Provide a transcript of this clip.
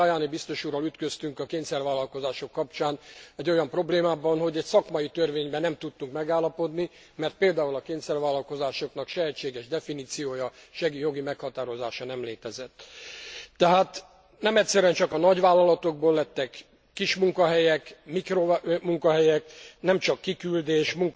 Éppen Tajani biztos úrral ütköztünk a kényszervállalkozások kapcsán egy olyan problémába, hogy egy szakmai törvényben nem tudtunk megállapodni, mert például a kényszervállalkozásoknak se egységes definíciója, se jogi meghatározása nem létezett. Tehát nem egyszerűen csak a nagyvállalatokból lettek kis munkahelyek, mikromunkahelyek, nemcsak kiküldés,